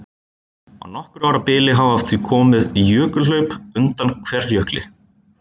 Á nokkurra ára bili hafa því komið jökulhlaup undan Kverkjökli.